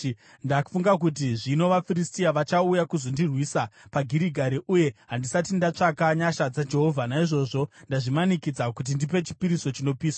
ndafunga kuti, ‘Zvino vaFiristia vachauya kuzondirwisa paGirigari, uye handisati ndatsvaka nyasha dzaJehovha.’ Naizvozvo ndazvimanikidza kuti ndipe chipiriso chinopiswa.”